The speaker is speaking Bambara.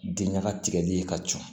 Diɲaga tigɛli ka ca